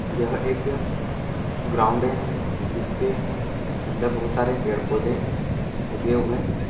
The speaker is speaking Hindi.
यह एक ग्राउड है जिसके अंदर बहुत सरे पेड़ पोधे उगे हुए हैं।